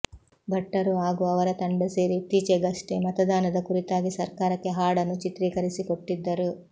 ಭಟ್ಟರು ಹಾಗೂ ಅವರ ತಂಡ ಸೇರಿ ಇತ್ತೀಚಿಗಷ್ಟೆ ಮತದಾನದ ಕುರಿತಾಗಿ ಸರ್ಕಾರಕ್ಕೆ ಹಾಡನ್ನು ಚಿತ್ರೀಕರಿಸಿಕೊಟ್ಟಿದ್ದರು